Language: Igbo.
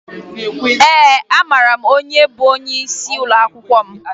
Ee, amara m onye bụ onyeisi ụlọakwụkwọ m